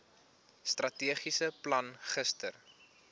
strategiese plan gister